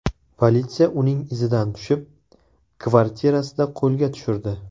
Politsiya uning izidan tushib, kvartirasida qo‘lga tushirdi.